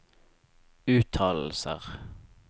uttalelser